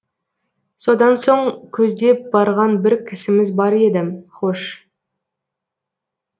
содан соң көздеп барған бір кісіміз бар еді хош